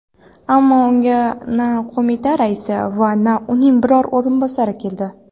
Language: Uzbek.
Ammo unga na qo‘mita raisi va na uning biror o‘rinbosari keldi.